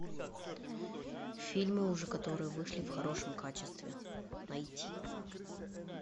фильмы уже которые вышли в хорошем качестве найти